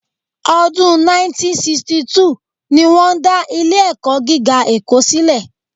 Ọdún 1962 ni wọ́n dá Ilé-ẹ̀kọ́ gíga Èkó sílẹ̀